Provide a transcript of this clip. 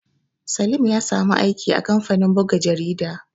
Salim ya samu aiki a kamfanin buga jarida